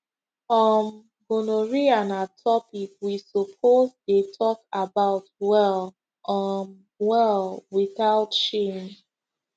um gonorrhea na topic we suppose dey talk about well um well without shame